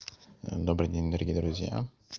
добрый день дорогие друзья